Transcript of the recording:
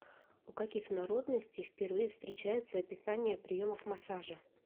у каких народностей впервые встречаются описания приемов массажа